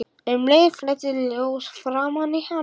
Um leið flæddi ljós framan í hann.